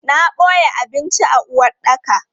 Na boye abinci a uwaɗɗaka.